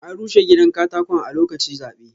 An rushe gidan katakon a lokaci zaɓe.